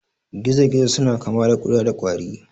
Gizo-gizo suna kama kuda da kwari.